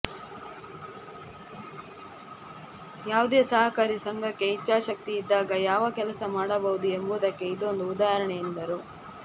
ಯಾವುದೇ ಸಹಕಾರಿ ಸಂಘಕ್ಕೆ ಇಚ್ಛಾಶಕ್ತಿ ಇದ್ದಾಗ ಯಾವ ಕೆಲಸ ಮಾಡಬಹುದು ಎಂಬುದಕ್ಕೆ ಇದೊಂದು ಉದಾಹರಣೆ ಎಂದರು